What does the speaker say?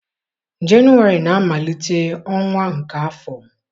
Jenụwarị na-amalite ọnwa nke afọ.